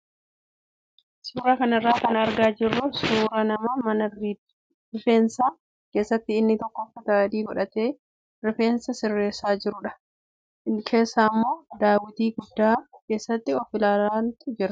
Suuraa kanarraa kan argaa jirru suuraa nama mana rid=feensaa keessatti inni tokko uffata adii godhatee rifeensa sirreessu kaan immoo sirreeffataa jiruu fi manicha keessa immoo daawwitii guddaa keessatti of ilaalantu jira.